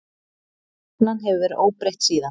Stefnan hefur verið óbreytt síðan.